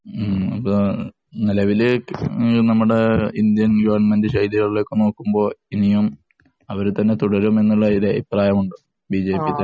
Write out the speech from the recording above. നെലവില് നമ്മുടെ Indian‍ government നോക്കുമ്പോള്‍ ഇനിയും അവര് തന്നെ തുടരും എന്നുള്ലൊരു അഭിപ്രായം ഉണ്ട് ബിജെപിക്ക്.